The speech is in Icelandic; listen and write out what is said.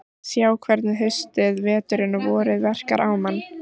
Sjá hvernig haustið, veturinn og vorið verkar á mann.